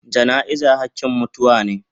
Jana'iza hakin mutuwa me.